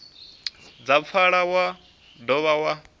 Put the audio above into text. dza pfala wa dovha wa